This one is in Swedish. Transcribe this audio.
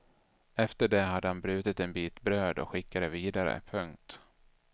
Efter det hade han brutit en bit bröd och skickat det vidare. punkt